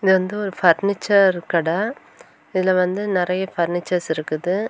இது வந்து ஒரு பர்னிச்சர் கட இதுல வந்து நெறைய பர்னிச்சர்ஸ் இருக்குது.